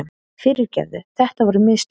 Fyrirgefðu, þetta voru. mistök.